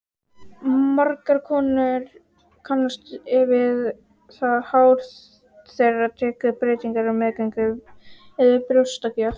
Margar konur kannast við það hár þeirra tekur breytingum á meðgöngu eða við brjóstagjöf.